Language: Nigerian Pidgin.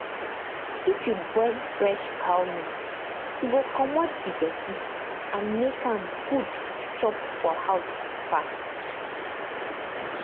if you boil fresh cow milk e go commot the dirty and make am good to chop for house um